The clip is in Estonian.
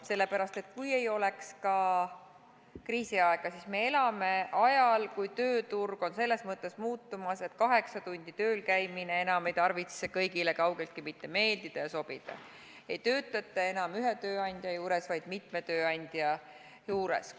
Sellepärast, et kui ei oleks ka kriisiaega, siis me elame ajal, kui tööturg on selles mõttes muutumas, et kaheksa tundi tööl käimine ei tarvitse enam kõigile kaugeltki mitte meeldida ja sobida, ei töötata enam ühe tööandja juures, vaid mitme tööandja juures.